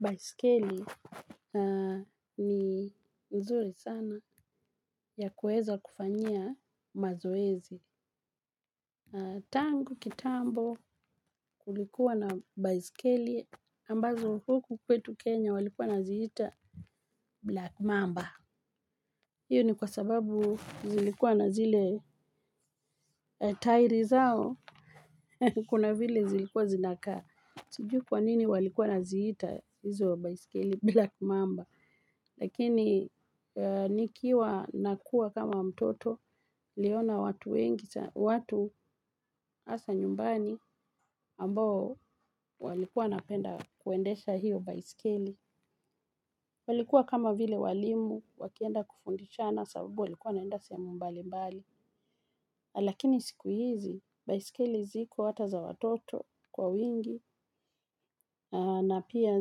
Baiskeli ni nzuri sana ya kueza kufanyia mazoezi. Tangu kitambo kulikuwa na baiskeli ambazo huku kwetu Kenya walikuwa naziita Black Mamba. Iyo ni kwa sababu zilikuwa na zile taili zao. Kuna vile zilikuwa zinakaa. Sijui kwa nini walikuwa wanaziita izo baiskeli Black Mamba. Lakini nikiwa nakuwa kama mtoto niliona watu wengi, watu haswa nyumbani ambao walikuwa wanapenda kuendesha hiyo baiskeli. Walikuwa kama vile walimu wakienda kufundisha na sababu walikuwa wanaenda sehemumbali mbali. Lakini siku hizi, baisikeli ziko hata za watoto kwa wingi na pia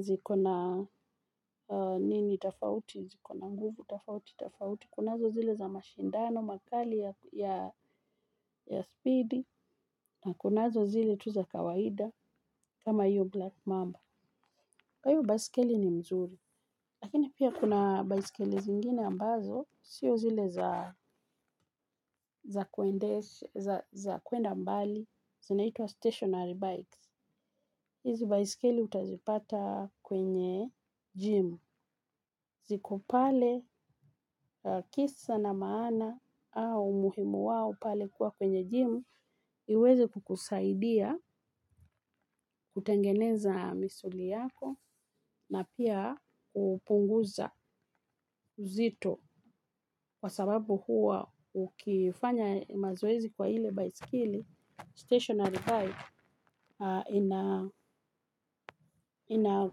zikona nini tafauti, zikona nguvu tafauti, tafauti. Kunazo zile za mashindano, makali ya speed. Na kunazo zile tu za kawaida. Kama iyo black mamba. Kwa hivyo baisikeli ni mzuri. Lakini pia kuna baiskeli zingine ambazo sio zile za kuenda mbali zinaitwa stationary bikes. Hizi baiskeli utazipata kwenye gym ziko pale kisa na maana. Au muhimu wao pale kuwa kwenye gym iweze kukusaidia kutengeneza misuli yako na pia kupunguza uzito kwa sababu huwa ukifanya mazoezi kwa ile baiskeli statationary bike ina ina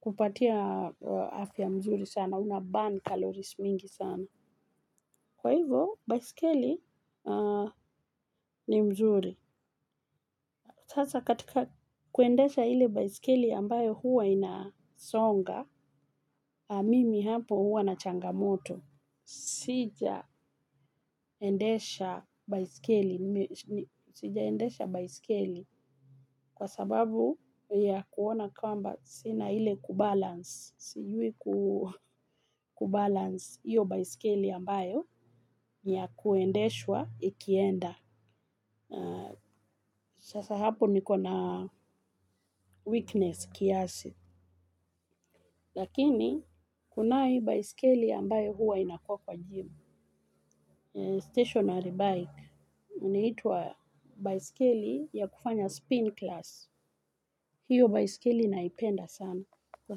kupatia afya mzuri sana unaburn calories mingi sana kwa hivo baiskeli ni nzuri. Sasa katika kuendesha ile baisikeli ambayo huwa inasonga, mimi hapo huwa na changamoto, sijaendesha baiskeli kwa sababu ya kuona kwamba sina ile kubalance, sijui kubalance iyo baiskeli ambayo ya kuendeshwa ikienda. Sasa hapo nikona weakness kiasi. Lakini kuna hii baiskeli ambayo huwa inakua kwa gym Stationary bike inaiitwa baiskeli ya kufanya spin class. Hiyo baiskeli naipenda sana. Kwa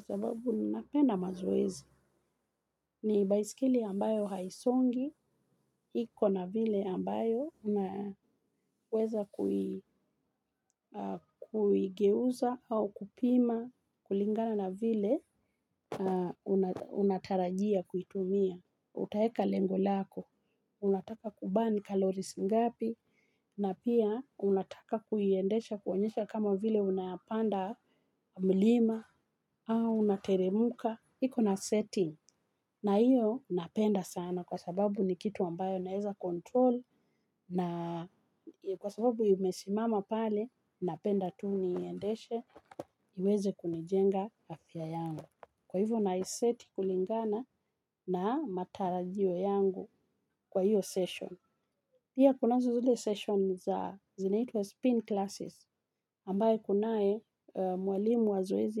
sababu napenda mazoezi. Ni baiskeli ambayo haisongi. Iko na vile ambayo unaweza kuigeuza au kupima kulingana na vile unatarajia kuitumia, utaweka lengo lako unataka kuburn calories ngapii. Na pia unataka kuiendesha kuonyesha kama vile unayapanda mlima au unateremka ikona setting na io napenda sana kwa sababu ni kitu ambayo naweza control na kwa sababu imesimama pale napenda tu niendeshe iweze kunijenga afya yangu. Kwa hivyo naiseti kulingana na matarajio yangu kwa hiyo session. Pia kuna zile session za zinaitwa spin classes ambaye kunae mwalimu wa zoezi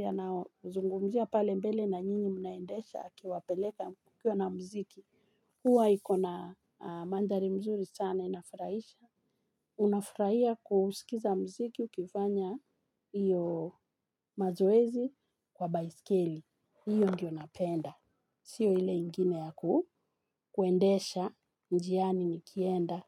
yanaozungumzia pale mbele na nyinyi mnaendesha akiwapeleka kukiwa na mziki. Hua ikona mandhari mzuri sana inafurahisha. Unafurahia kusikiza mziki ukifanya iyo mazoezi kwa baiskeli, hiyo ndiyo napenda. Sio ile ingine yaku, kuendesha njiani nikienda.